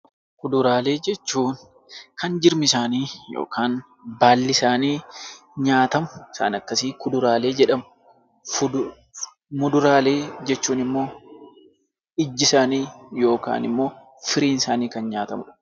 Fuduraalee jechuun kan jirmi isaanii yookaan baalii isaanii nyaatamu isaan akkasii fuduraalee jedhamu. Muduraalee jechuun immoo ijji isaanii yookaan immoo firiin isaanii kan nyaatamudha.